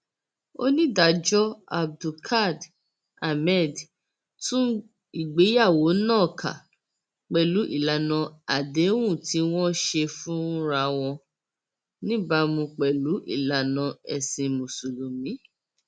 onídàájọ abdulkád ahmed tú ìgbéyàwó náà ká pẹlú ìlànà àdéhùn tí wọn ṣe fúnra wọn níbàámu pẹlú ìlànà ẹsìn mùsùlùmí